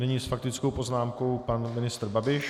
Nyní s faktickou poznámkou pan ministr Babiš.